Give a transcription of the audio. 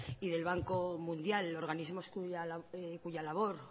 y del banco mundial organismos cuya labor